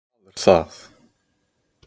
vað er það?